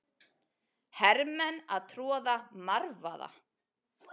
Hermenn að troða marvaða.